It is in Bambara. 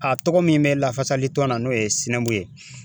A tɔgɔ min bɛ lafasalitɔn na n'o ye ye